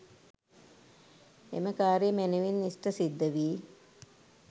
එම කාර්යය මැනවින් ඉෂ්ඨ සිද්ධ වී